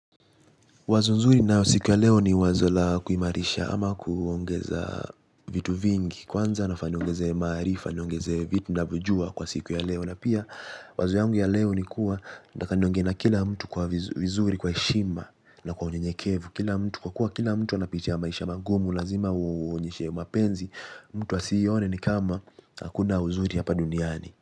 Wazo nzuri na usiku ya leo ni wazo la kuimarisha ama kuongeza vitu vingi kwanza na faa nongezee maarifa, nongezee vitu navojua kwa siku ya leo. Na pia wazo yangu ya leo ni kuwa ntaka niongee na kila mtu kwa vizuri, kwa shima na kwa unyenyekevu. Kwa kuwa kila mtu anapitia maisha magumu, lazima uonyeshe mapenzi, mtu asiione ni kama hakuna uzuri hapa duniani.